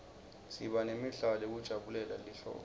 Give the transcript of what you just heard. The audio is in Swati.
siba nemidlalo yekujabulela lihlobo